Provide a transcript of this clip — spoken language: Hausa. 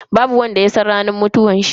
Babu wanda ya san ranar mutuwanshi.